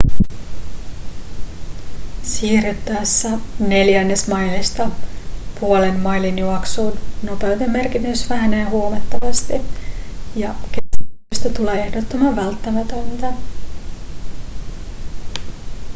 siirryttäessä neljännesmailista puolen mailin juoksuun nopeuden merkitys vähenee huomattavasti ja kestävyydestä tulee ehdottoman välttämätöntä